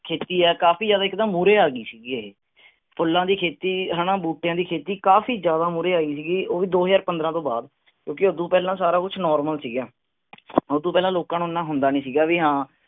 ਖੇਤੀ ਆ ਕਾਫੀ ਜ਼ਿਆਦਾ ਇੱਕ ਦਮ ਮੂਹਰੇ ਆ ਗਈ ਸੀਗੀ ਉਰੇ ਫੁੱਲਾਂ ਦੀ ਖੇਤੀ ਹੈਨਾ ਬੂਟਿਆਂ ਦੀ ਖੇਤੀ ਕਾਫੀ ਜ਼ਿਆਦਾ ਮੂਹਰੇ ਆ ਗਈ ਸੀਗੀ ਉਹ ਦੋ ਹਜ਼ਾਰ ਪੰਦ੍ਰਹ ਤੋਂ ਬਾਅਦ ਕਿਉਂਕਿ ਉਹਦੋਂ ਪਹਿਲਾਂ ਸਾਰਾ ਕੁੱਛ normal ਸੀਗਾ ਉਹਦੋਂ ਪਹਿਲਾਂ ਲੋਕਾਂ ਨੂੰ ਇਹਨਾਂ ਹੁੰਦਾਂ ਨੀ ਸੀਗਾ ਵੀ ਹਾਂ